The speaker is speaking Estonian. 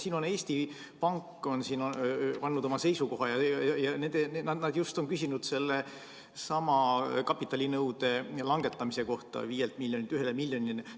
Siin on Eesti Pank andnud oma seisukoha ja nad on küsinud just sellesama kapitalinõude 5 miljonilt 1 miljonile langetamise kohta.